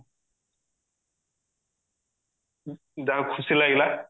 ଯା ହଉ ଖୁସି ଲାଗିଲା